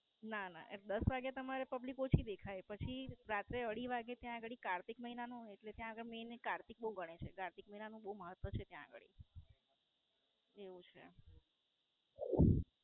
ના ના દસ વાગે તમારે પબ્લિક ઓછી દેખાય પછી રાત્રે અઢી વાગે ત્યાં ગાળી કારતક મહિનાનું એટલે કે નું Maine કારતક બોવ ગણાય છે. કારતક મહિના નું બોવ મહત્વ છે ત્યાં ગાળી. એવું છે.